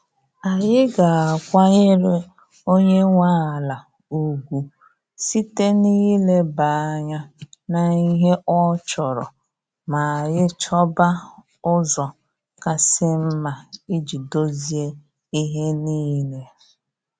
Anyị ga-akwanyere onye nwe ala ugwu site na ị ileba anya n'ihe ọ chọrọ ma anyị chọba ụzọ kasị mma iji dozie ihe niile.